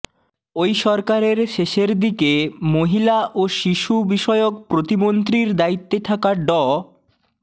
ওই সরকারের শেষের দিকে মহিলা ও শিশু বিষয়ক প্রতিমন্ত্রীর দায়িত্বে থাকা ড